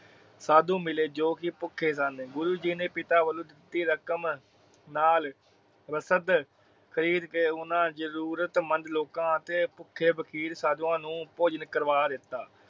ਸਾਧੂ ਮਿਲੇ ਜੋ ਕਿ ਭੁੱਖੇ ਸਨ। ਗੁਰੂ ਜੀ ਨੇ ਪਿਤਾ ਵਲੋਂ ਦਿਤੀ ਰਕਮ ਨਾਲ ਰਸਦ ਖਰੀਦ ਕੇ ਓਹਨਾ ਜਰੂਰਤ ਮੰਦ ਲੋਕਾਂ ਅਤੇ ਭੂਖੇ ਫ਼ਕੀਰ ਸਾਦੁਆ ਨੂੰ ਭੋਜਨ ਕਰਵਾ ਦਿਤਾ।